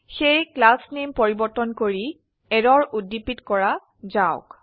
সেয়ে class name পৰিবৰ্তন কৰি এৰৰ উদ্দীপিত কৰা যাওক